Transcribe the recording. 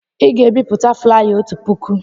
Ị ga-ebipụta flaya otu puku!